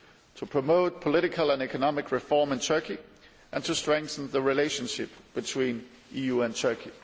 to promote political and economic reform in Turkey and to strengthen the relationship between the EU and Turkey.